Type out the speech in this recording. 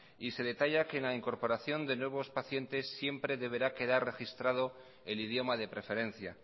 y se detalla que en la incorporación de nuevos pacientes siempre deberá quedar registrado el idioma de preferencia